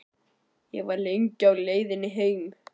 Ég var lengi á leiðinni heim.